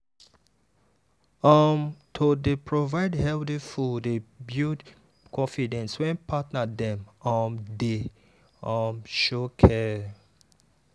um to dey provide healthy food dey build confidence when partner dem um dey um show care.